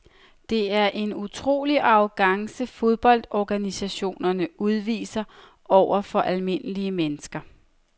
Det er en utrolig arrogance fodboldorganisationerne udviser over for almindelige mennesker.